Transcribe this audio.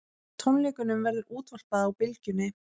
Tónleikunum verður útvarpað á Bylgjunni